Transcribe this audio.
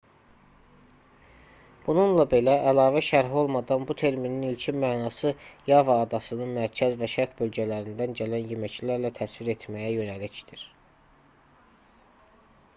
bununla belə əlavə şərh olmadan bu terminin ilkin mənası yava adasının mərkəz və şərq bölgələrindən gələn yeməklərlə təsvir etməyə yönəlikdir